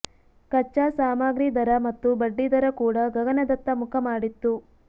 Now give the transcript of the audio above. ಕಚ್ಚಾ ಸಾಮಾಗ್ರಿ ದರ ಮತ್ತು ಬಡ್ಡಿದರ ಕೂಡ ಗಗನದತ್ತ ಮುಖ ಮಾಡಿತ್ತು